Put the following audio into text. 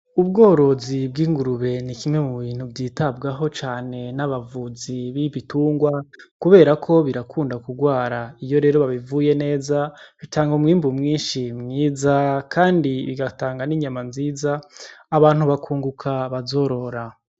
Ubworozi bw’ingurube ni kimwe mu bintu vyitabwaho cane n’abavuzi b’ibitungwa kuberako birakunda gurwara iyo rero babivuye neza bitanga umwimbu mwinshi mwiza kandi bigatanga n'inyama nziza abantu bakunguka bazorora.